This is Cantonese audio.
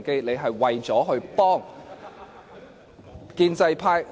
你是為了幫建制派。